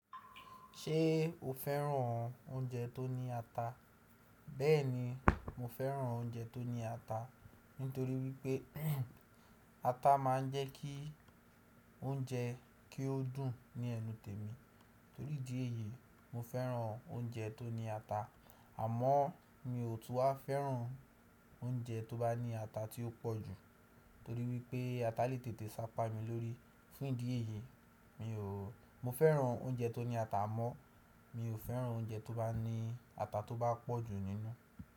Ṣé o féràn oúnjẹ tó ní ata? Bẹ́ẹ̀ni mo féràn oúnjẹ tó ní ata, nítorí wípé ata ma ń jẹ́ kí oúnjẹ kí ó dùn ní ẹnu tèmi. Torí ìdí èyí, mo féràn oúnjẹ tó ní ata, àmọ́ mi ò tún a féràn oúnjẹ tó bá ní ata tí ó pọ̀ jù, torí wípé ata lè tètè sápá mi lórí. Fún ìdí èyí, mo féràn oúnjẹ tó ní ata mọ́, mi ò féràn oúnjẹ tó bá ní ata tó bá pọ̀ jù nínú.